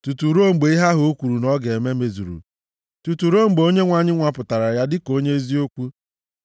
tutu ruo mgbe ihe ahụ o kwuru na ọ ga-eme mezuru, tutu ruo mgbe okwu Onyenwe anyị nwapụtara ya dịka onye eziokwu.